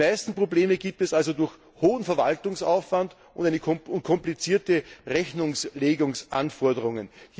Die meisten Probleme gibt es also durch hohen Verwaltungsaufwand und komplizierte Rechnungslegungsanforderungen.